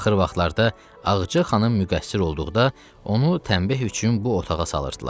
Axır vaxtlarda Ağacı xanım müqəssir olduqda onu tənbeh üçün bu otağa salırdılar.